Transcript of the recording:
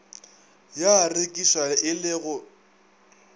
ya rekišwa e le go